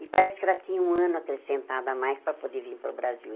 E parece que ela tinha um ano acrescentado a mais para poder vir para o Brasil.